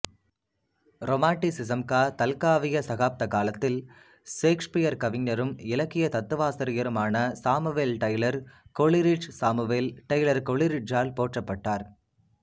ரொமான்டிசிஸம்காதல்காவிய சகாப்த காலத்தில் சேக்சுபியர் கவிஞரும் இலக்கிய தத்துவாசிரியருமான சாமுவேல் டெய்லர் கொலிரிட்ஜ்சாமுவேல் டெய்லர் கொலிரிட்ஜால் போற்றப்பட்டார்